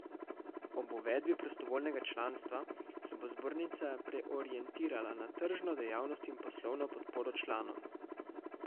Ob uvedbi prostovoljnega članstva se bo zbornica preorientirala na tržno dejavnost in poslovno podporo članom.